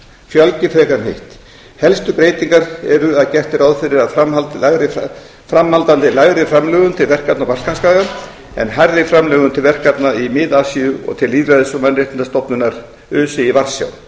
fjölgi frekar en hitt helstu breytingar eru að gert er ráð fyrir áframhaldandi lægri framlögum til verkefna á balkanskaga en hærri framlögum til verkefna í mið asíu og til lýðræðis og mannréttindastofnunar öse í varsjá